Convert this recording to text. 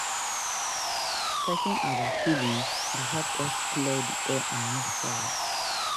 Talking about feelings dey help us clear the air and move forward.